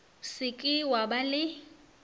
se ke wa ba le